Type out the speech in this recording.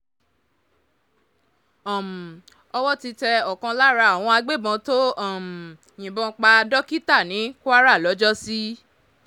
um owó ti tẹ ọ̀kan lára àwọn agbébọ́n tó um yìnbọn pa dókítà ní kwara lọ́jọ́sí